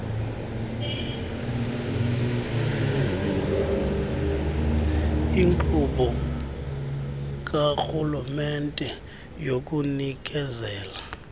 inkqubo karhulumente yokunikezela